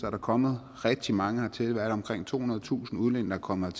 er kommet rigtig mange hertil hvad er det omkring tohundredetusind udlændinge er kommet